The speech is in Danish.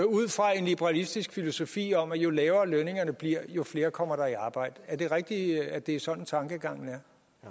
ud fra en liberalistisk filosofi om at jo lavere lønningerne bliver jo flere kommer der i arbejde er det rigtigt at det er sådan tankegangen